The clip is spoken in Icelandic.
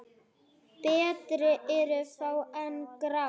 Betri eru fá en grá?